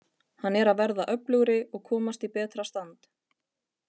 Hann er að verða öflugri og komast í betra stand.